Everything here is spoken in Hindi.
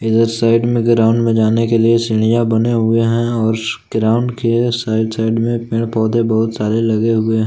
इधर साइड में ग्राउंड में जाने के लिए सीढ़ियां बने हुए है और ग्राउंड के साइड साइड मे पेड़ पौधे बहुत सारे लगे हुए है।